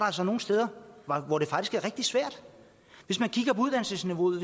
altså nogle steder hvor det faktisk er rigtig svært hvis man kigger på uddannelsesniveauet og